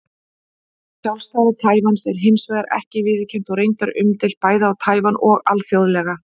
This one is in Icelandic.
Sjálfstæði Taívans er hins vegar ekki viðurkennt og reyndar umdeilt, bæði á Taívan og alþjóðlega.